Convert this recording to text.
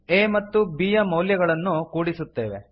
a ಮತ್ತು b ಯ ಮೌಲ್ಯಗಳನ್ನು ಕೂಡಿಸುತ್ತೇವೆ